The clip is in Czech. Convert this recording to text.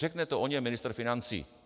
Řekne to o něm ministr financí.